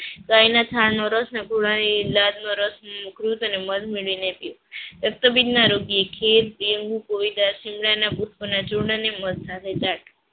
ગાયના છાણ નો રસ અને ઘોડાની લાડ નો રસ મૂત્ર અને મધ મેળવીને પીવું. રક્તપિત ના રોગીએ ખીર